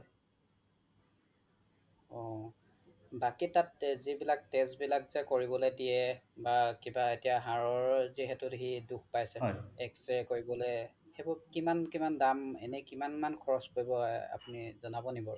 অ বাকি তাত যিবিলাক test বিলাক যে কৰিব দিয়ে কৰিবলৈ দিয়ে কিবা এতিয়া হাৰৰ যিহেটো সি দোষ পাইছে X-ray কৰিবলে সেইবোৰ কিমান কিমান দাম এনে কিমান খৰচ পৰিব আপুনি জনাব নেকি বাৰু